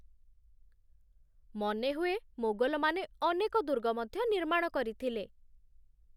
ମନେ ହୁଏ, ମୋଗଲମାନେ ଅନେକ ଦୁର୍ଗ ମଧ୍ୟ ନିର୍ମାଣ କରିଥିଲେ।